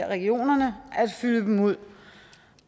regionerne at fylde dem ud